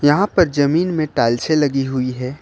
यहां पर जमीन में टाइल्से लगी हुई है।